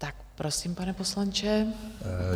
Tak prosím, pane poslanče.